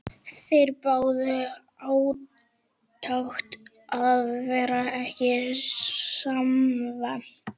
Þeir biðu átekta og varð ekki svefnsamt.